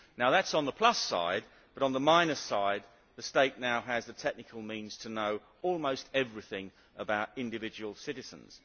Now that is on the plus side, but on the minus side the state now has the technical means to know almost everything about individual citizens.